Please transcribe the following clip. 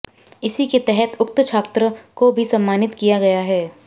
इसी के तहत उक्त छात्र को भी सम्मानित किया गया है